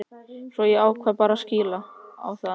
Svo ég ákvað bara að kýla á það.